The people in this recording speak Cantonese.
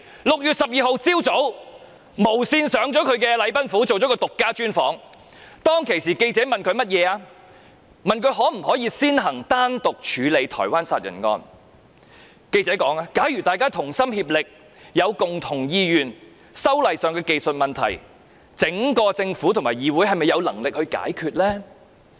6月12日早上，無綫電視攝影隊到禮賓府為她進行獨家專訪，當時記者問她可否先行單獨處理台灣殺人案，記者問："假如大家同心，有共同意願，修例上的技術問題，整個政府和議會是否有能力解決得到？